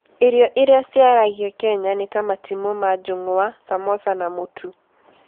Irio iria ciaragio Kenya nĩ ta matimũ ma njungwa, samosa, na mũtu.